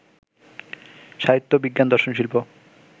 সাহিত্য, বিজ্ঞান, দর্শন, শিল্প